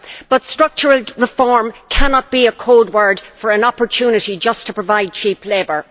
But structural reform cannot be a code word for an opportunity just to provide cheap labour.